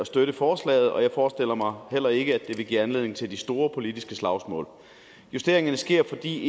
støtte forslaget og jeg forestiller mig heller ikke at det vil give anledning til de store politiske slagsmål justeringen sker fordi